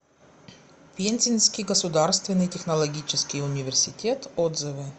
пензенский государственный технологический университет отзывы